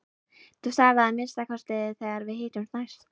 Þú sagðir það að minnsta kosti þegar við hittumst næst.